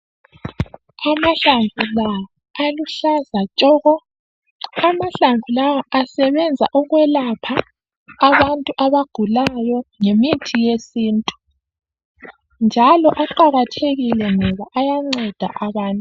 Amahlamvu la aluhlaza tshoko amahlamvu lawa asebenza ukwelapha abantu abagulayo ngemithi yesintu njalo aqakathekile ngoba ayanceda abantu.